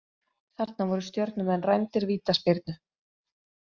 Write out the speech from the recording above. Þarna voru Stjörnumenn rændir vítaspyrnu.